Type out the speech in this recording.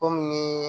Kɔmi